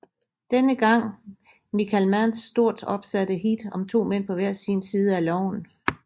Denne gang Michael Manns stort opsatte Heat om to mænd på hver sin side af loven